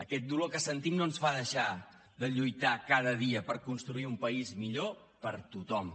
aquest dolor que sentim no ens fa deixar de lluitar cada dia per construir un país millor per a tothom